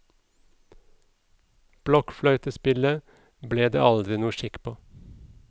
Blokkfløytespillet ble det aldri noe skikk på.